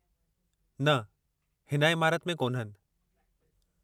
न, हिन इमारति में कोन्हनि।